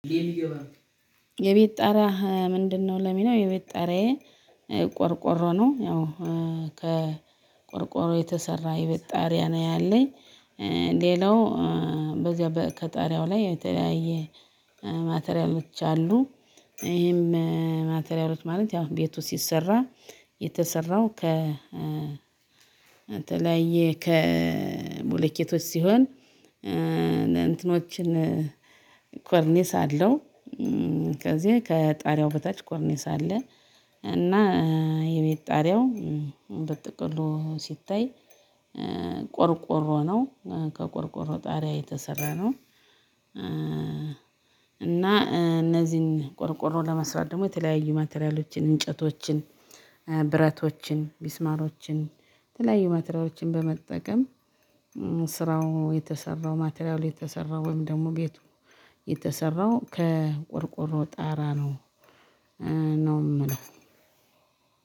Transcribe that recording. የቤት ጣሪያህ ምንድነው? ለሚለው የቤት ጣራዬ ቆርቆሮ ነው። ያው ከቆርቆሮ የተሰራ የቤት ጣሪያ ነው ያለኝ። ሌላው በዚያ በ ከጣሪያው ላይ የተለያየ ማቴሪያሎች አሉ። ይሄም ማቴሪያሎች ማለት ያው ቤቱ ሲሰራ የተሰራው ከ ተለያየ ከ ቦሌኬቶች ሲሆን እንትኖችን ኮርኒስ አለው። ከዚህ ከጣሪያው በታች ኮርኒስ አለ። እና የቤት ጣሪያው በጥቅሉ ሲታይ ቆርቆሮ ነው ከ ቆርቆሮ ጣሪያ የተሰራ ነው። እና እነዚህን ቆርቆሮ ለመስራት ደግሞ የተለያዩ ማቴሪያሎችን እንጨቶችን ብረቶችን ሚስማሮችን የተለያዩ ማቴሪያሎችን በመጠቀም ስራው የተሰራው ማቴሪያሉ የተሰራው ወይም ደግሞ ቤቱ የተሰራው ከቆርቆሮ ጣራ ነው። ነው እምለው።